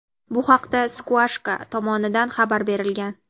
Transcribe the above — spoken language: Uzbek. Bu haqda "Squawka" tomonidan xabar berilgan.